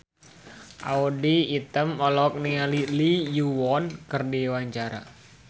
Audy Item olohok ningali Lee Yo Won keur diwawancara